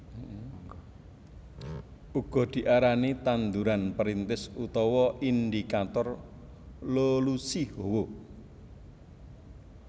Uga diarani tanduran perintis utawa indikator lolusi hawa